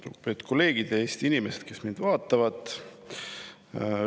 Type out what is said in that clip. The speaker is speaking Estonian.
Lugupeetud kolleegid ja Eesti inimesed, kes te meid vaatate!